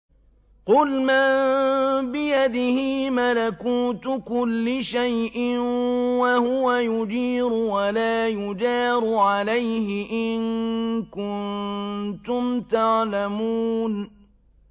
قُلْ مَن بِيَدِهِ مَلَكُوتُ كُلِّ شَيْءٍ وَهُوَ يُجِيرُ وَلَا يُجَارُ عَلَيْهِ إِن كُنتُمْ تَعْلَمُونَ